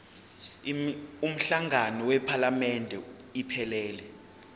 umhlangano wephalamende iphelele